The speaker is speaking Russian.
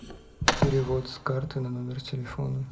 перевод с карты на номер телефона